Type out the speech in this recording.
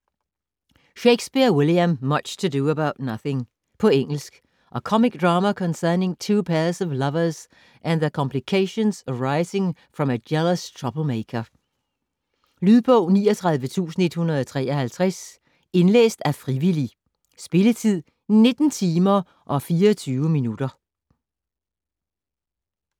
Shakespeare, William: Much ado about nothing På engelsk. A comic drama concerning two pairs of lovers and the complications arising from a jealous troublemaker. Lydbog 39153 Indlæst af frivillig. Spilletid: 19 timer, 24 minutter.